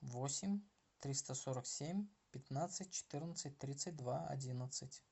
восемь триста сорок семь пятнадцать четырнадцать тридцать два одиннадцать